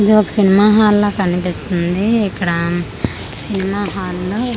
ఇది ఒక cinema hall లా కనిపిస్తుంది ఇక్కడ ఉమ్ సినిమా హాల్ లో--